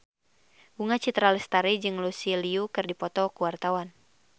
Bunga Citra Lestari jeung Lucy Liu keur dipoto ku wartawan